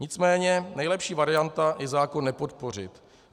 Nicméně nejlepší varianta je zákon nepodpořit.